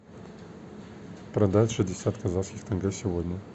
продать шестьдесят казахских тенге сегодня